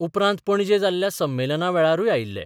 उपरांत पणजे जाल्ल्या संमेलनावेळारूय आयिल्ले.